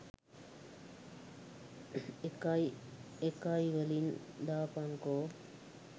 එකයිඑකයිවලින් දාපන්කෝ